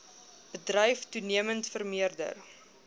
bedryf toenemend vermeerder